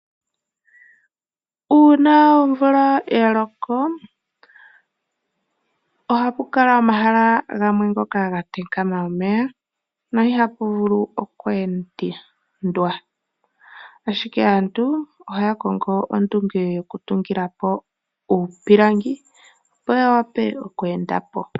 Uuna omvula ya loko ohapu kala omahala gamwe ngoka gatengela omeya no ihapu vulu okweendwa. Ashike aantu ohaya kongo ondunge yokutungilapo uupilangi opo ya wape okweendapo.